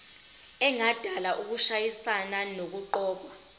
engadala ukushayisana nokuqokwa